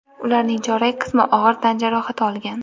ularning chorak qismi og‘ir tan jarohati olgan.